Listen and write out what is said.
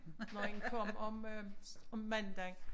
Når en kom om øh om mandagen